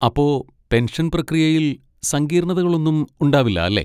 അപ്പൊ, പെൻഷൻ പ്രക്രിയയിൽ സങ്കീർണതകളൊന്നും ഉണ്ടാവില്ല അല്ലേ?